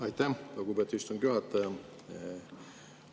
Aitäh, lugupeetud istungi juhataja!